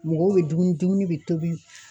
Mɔgɔw be dumuni ,dumuni be tobi